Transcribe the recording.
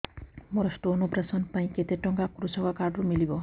ମୋର stone operation ପାଇଁ କେତେ ଟଙ୍କା କୃଷକ କାର୍ଡ ରୁ ମିଳିବ